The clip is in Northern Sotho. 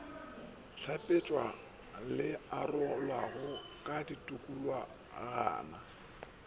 hlapetšwa le arolwago ka ditikologwana